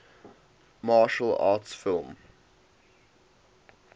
martial arts film